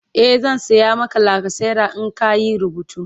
e zan saya Maka lacasera in ka Yi rubutu